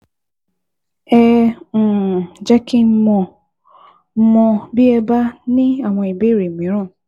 Ẹ um jẹ́ kí n mọ̀ n mọ̀ bí ẹ bá ní àwọn ìbéèrè mìíràn